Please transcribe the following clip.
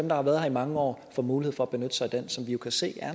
der har været her i mange år få mulighed for at benytte sig af den som vi kan se